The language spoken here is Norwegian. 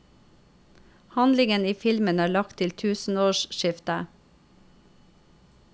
Handlingen i filmen er lagt til tusenårsskiftet.